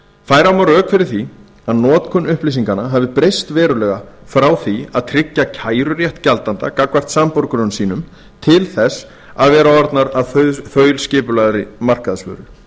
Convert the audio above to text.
færa má rök fyrir því að notkun upplýsinganna hafi breyst verulega frá því að tryggja kærurétt gjaldanda gagnvart samborgurum sínum til þess að vera orðnar að þaulskipulagðri markaðsvöru